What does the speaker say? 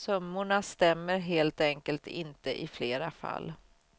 Summorna stämmer helt enkelt inte i flera fall.